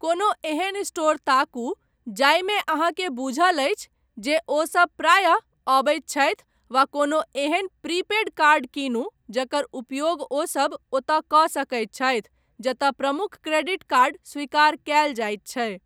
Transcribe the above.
कोनो एहन स्टोर ताकू जाहिमे अहाँकेँ बूझल अछि जे ओसभ प्रायः अबैत छथि वा कोनो एहेन प्री पेड कार्ड कीनू जकर उपयोग ओसभ ओतय कऽ सकैत छथि जतय प्रमुख क्रेडिट कार्ड स्वीकार कयल जायत छै।